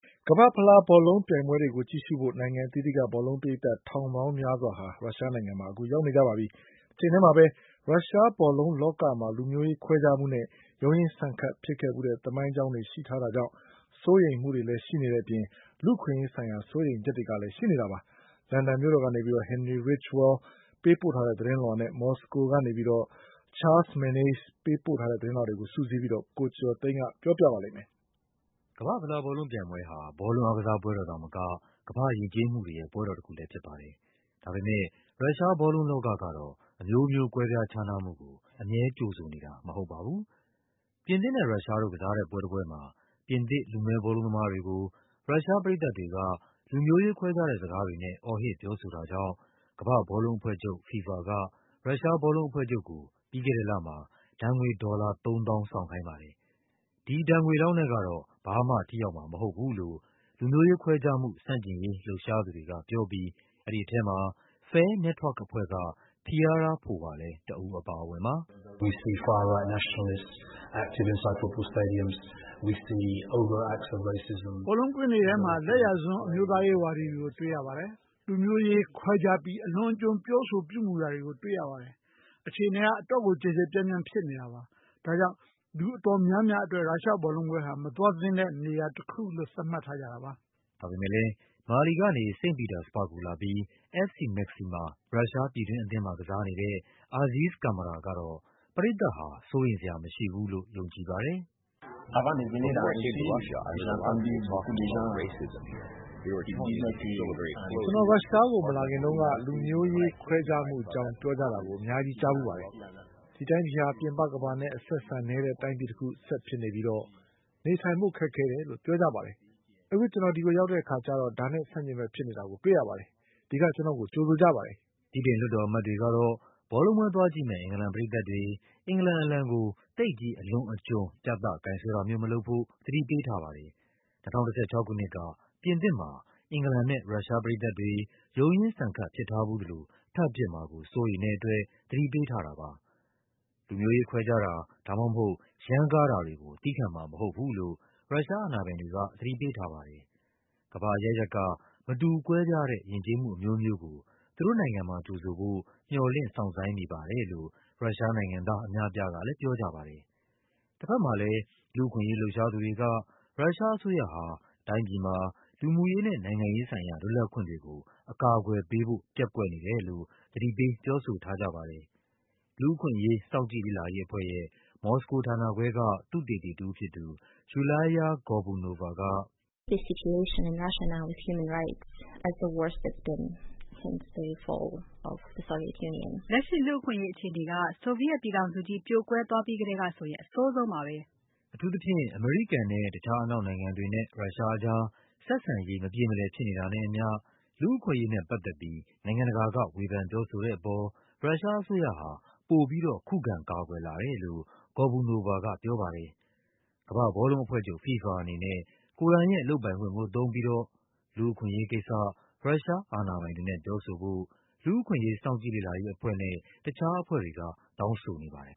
ကမ္ဘာ့ဖလား ဘောလုံးပြိုင်ပွဲတွေကို ကြည့်ရှုဖို့ နိုင်ငံအသီးသီးက ဘောလုံးပရိသတ် ထောင်ပေါင်းများစွာ ရုရှားနိုင်ငံ မှာ ရောက်နေကြပါပြီ။ တချိန်ထဲမှာပဲ ရုရှားဘောလုံးလောကမှာ လူမျိုးရေးခွဲခြားမှုနဲ့ ရုန်းရင်းဆန်ခတ် ဖြစ်ဖူးတဲ့ သမိုင်းကြောင်း ရှိထားတာကြောင့် စိုးရိမ်မှုတွေလည်း ရှိနေပါတယ်။ ဒါ့အပြင် လူ့အခွင့်အရေးဆိုင်ရာ စိုးရိမ်ချက်တွေကလည်း ရှိနေဆဲပါ။ လန်ဒန် မြို့တော်ကနေ Henry Ridgwell ပေးပို့တဲ့သတင်းလွှာနဲ့ မော်စကိုကနေ Charles Maynes ပေးပို့တဲ့သတင်းလွှာတွေကို စုစည်းပြီး ကိုကျော်ကျော်သိန်းက ပြောပြပါမယ်။ ကမ္ဘာ့ဖလားဘောလုံးပြိုင်ပွဲဟာ ဘောလုံးအားကစားသာမက ကမ္ဘာ့ယဉ်ကျေးမှုတွေရဲ့ ပွဲတော်တခုလည်းဖြစ်ပါတယ်။ ဒါပေမဲ့ ရုရှားဘောလုံးလောကကတော့ အမျိုးမျိုး ကွဲပြား ခြားနားမှုကို အမြဲကြိုဆိုနေတာ မဟုတ်ပါဘူး။ ပြင်သစ်နဲ့ ရုရှားတို့ ကစား တဲ့ပွဲတပွဲမှာ ပြင်သစ် လူမည်းဘောလုံးသမားတွေကို ရုရှားပရိသတ်တွေက လူမျိုးရေးခွဲခြားတဲ့စကားတွေနဲ့ အော်ဟစ်ပြောဆိုတာ ကြောင့် ကမ္ဘာ့ဘောလုံးအဖွဲ့ချုပ် FIFA က ရုရှားဘောလုံးအဖွဲ့ချုပ်ကို ပြီးခဲ့တဲ့လမှာ ဒဏ်ငွေ ဒေါ်လာ ၃၀,၀၀၀ ဆောင်ခိုင်းပါတယ်။ ဒီဒဏ်ငွေလောက်နဲ့ကတော့ ဘာမှထိရောက်မှာမဟုတ်ဘူးလို့ လူမျိုးရေးခွဲခြားမှု ဆန့်ကျင်ရေးလှုပ်ရှားသူတွေကပြောပြီး အဲဒီထဲမှာ Fair Network အဖွဲ့က Piara Powar လည်း တဦးအပါအဝင်ပါ။ “ဘောလုံးကွင်းတွေထဲမှာ လယ်ယာစွန်း အမျိုးသားရေးဝါဒီတွေကို တွေ့ရပါတယ်။ လူမျိုးရေးခွဲခြားပြီး အလွန်အကျွံ ပြောဆို ပြုမူတာတွေကို တွေ့ရပါတယ်။ အခြေအနေက အတော့်ကို ကျယ်ကျယ်ပြန့်ပြန် ဖြစ်နေတာပါ။ ဒါကြောင့် လူအတော် များများအတွက် ရုရှားဘောလုံးပွဲဟာ သွားဖို့မသင့်တဲ့ နေရာတခုလို့ သတ်မှတ်ထားကြတာပါ။” ဒါပေမဲ့လည်း မာလီကနေ စိန့်ပီတာစဘာ့ဂ်ကိုလာပြီး FC Maxima ရုရှားပြည်တွင်းအသင်းမှာ ကစားနေတဲ့ Aziz Camara ကတော့ ပရိတ်သတ်ဟာ စိုးရိမ်စရာမရှိဘူးလို့ ယုံကြည်ပါတယ်။ “ကျနော် ရုရှားကို မလာခင်တုန်းက လူမျိုးရေးခွဲခြားမှုအကြောင်း ပြောကြတာ အများကြီး ကြားဖူးပါတယ်။ ဒီ တိုင်းပြည်ဟာ ပြင်ပကမ္ဘာနဲ့ အဆက်အဆံနည်းတဲ့ တိုင်းပြည်တခု ဆက်ဖြစ်နေပြီး နေထိုင်ဖို့ ခက်ခဲတယ်လို့ ပြောကြပါတယ်။ ကျနော် ရောက်တဲ့အခါကျတော့ အဲဒါနဲ့ ဆန့်ကျင်ဘက်ကို တွေ့ရပါတယ်။ ကျနော့်ကို ဒီက ကြိုဆိုပါတယ်။” ဗြိတိန် လွှတ်တော်အမတ်တွေကတော့ ဘောလုံးပွဲသွားကြည့်မယ့် အင်္ဂလန်ပရိသတ်တွေ အင်္ဂလန်အလံကို သိပ်ကြီး အလွန်အကျွံ ပြသကိုင်စွဲတာမျိုး မလုပ်ဖို့ သတိပေးထားပါတယ်။ ၂၀၁၆ ခုနှစ်က ပြင်သစ်မှာ အင်္ဂလန်နဲ့ ရုရှားပရိသတ်တွေ ရုန်းရင်းဆန်ခတ် ဖြစ်ထားဖူးသလို ထပ်ဖြစ်မှာကို စိုးရိမ်တဲ့အတွက် သတိပေးထားတာပါ။ လူမျိုးရေးခွဲခြားတာ ဒါမှမဟုတ် ရမ်းကားတာတွေကို သည်းခံမှာမဟုတ်ဘူးလို့ ရုရှားအာဏာပိုင်တွေက သတိပေးထားပါတယ်။ ကမ္ဘာအရပ်ရပ်က မတူကွဲပြားတဲ့ ယဉ်ကျေးမှုအမျိုးမျိုးကို သူတို့နိုင်ငံမှာ ကြိုဆိုဖို့ မျှော်လင့် စောင့်ဆိုင်းနေပါတယ်လို့ ရုရှားနိုင်ငံ သားအများအပြားကလည်း ပြောကြပါတယ်။ တဘက်မှာလည်း လူ့အခွင့်အရေးလှုပ်ရှားသူတွေက ရုရှားအစိုးရဟာ တိုင်းပြည်မှာ လူမှုရေးနဲ့ နိုင်ငံရေးဆိုင်ရာ လွတ်လပ်ခွင့်တွေ ကို အကာအကွယ်ပေးဖို့ ပျက်ကွက်နေတယ်လို့ သတိပေး ပြောဆိုထားကြပါတယ်။ လူ့အခွင့်အရေး စောင့်ကြည့်လေ့လာရေးအဖွဲ့ ရဲ့ မော်စကိုဌာနခွဲက သုတေသီတဦးဖြစ်သူ Yulia Gorbunova က - “လက်ရှိ လူ့အခွင့်အရေးအခြေအနေက ဆိုဗီယက်ပြည်ထောင်စု ပြိုကွဲပြီးကတည်းကဆိုရင် အဆိုးဆုံးပါပဲ။” အထူးသဖြင့် အမေရိကန်နဲ့ တခြားအနောက်နိုင်ငံတွေနဲ့ ရုရှားအကြား ဆက်ဆံရေး မပြေမလည်ဖြစ်နေတာနဲ့အမျှ လူ့အခွင့်အရေး နဲ့ပတ်သက်ပြီး နိုင်ငံတကာက ဝေဖန်ပြောဆိုတဲ့အပေါ် ရုရှားအစိုးရဟာ ပိုပြီးတော့ ခုခံကာကွယ်လာတယ်လို့ Gorbunova က ပြောပါတယ်။ ကမ္ဘာ့ဘောလုံးအဖွဲ့ချုပ် FIFA အနေနဲ့ ကိုယ်တိုင်ရဲ့ လုပ်ပိုင်ခွင့်ကို သုံးပြီးတော့ လူ့အခွင့်အရေးကိစ္စ ရုရှားအာဏာပိုင်တွေနဲ့ ပြောဆိုဖို့ လူ့အခွင့်အရေးအဖွဲ့နဲ့ တခြားအဖွဲ့တွေက တောင်းဆိုနေပါတယ်